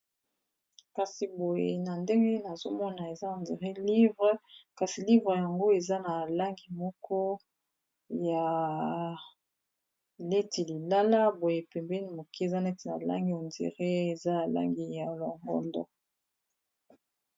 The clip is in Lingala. Kasi boye na ndenge nazomona eza neti buku, kasi buku yango eza na langi moko neti ya lilala boye, pembeni moke eza neti na langi ya rose.